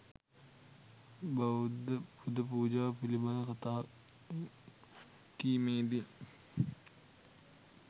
බෞද්ධ පුද පූජා පිළිබඳ කතා කීමේදී